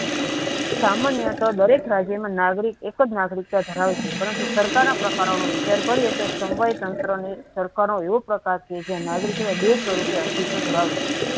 સામાન્ય દરેક નાગરિક એક જનાગરિકત ધરાવે છે પરંતુ સરકારના પ્રકારોનો વિચાર કરી સમવાયી તંત્ર નાગરિકોને બે પ્રકારે અસ્તિત્વ ધરાવે છે.